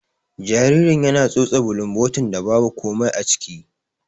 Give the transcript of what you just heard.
Jaririn yana tsotse bulumbotin da babu komai aciki.